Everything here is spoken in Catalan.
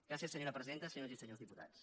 gràcies senyora presidenta senyores i senyors diputats